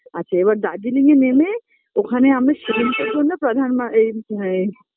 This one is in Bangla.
আচ্ছা এবার দার্জিলিং এ নেমে ওখানে আমি সেলিমপুর জন্য প্রধান মা এই ম এই